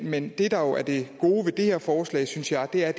men det der jo er det gode ved det her forslag synes jeg er